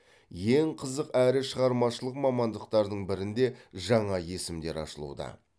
ең қызық әрі шығармашылық мамандықтардың бірінде жаңа есімдер ашылуда